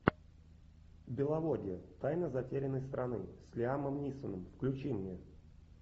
беловодье тайна затерянной страны с лиамом нисоном включи мне